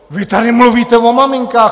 Vy tady mluvíte o maminkách.